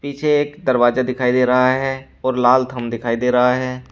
पीछे एक दरवाजा दिखाई दे रहा है और लाल थम दिखाई दे रहा है।